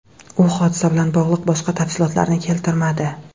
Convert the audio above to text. U hodisa bilan bog‘liq boshqa tafsilotlarni keltirmadi.